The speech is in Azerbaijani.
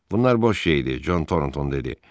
Bunlar boş şeydir, Con Toronton dedi.